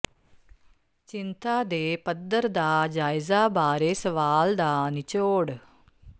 ਚਿੰਤਾ ਦੇ ਪੱਧਰ ਦਾ ਜਾਇਜ਼ਾ ਬਾਰੇ ਸਵਾਲ ਦਾ ਨਿਚੋੜ